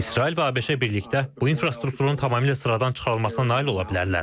İsrail və ABŞ birlikdə bu infrastrukturun tamamilə sıradan çıxarılmasına nail ola bilərlər.